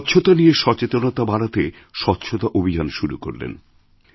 স্বচ্ছতা নিয়ে সচেতনতা বাড়াতে স্বচ্ছতা অভিযান শুরু করলেন